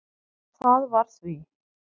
Það var því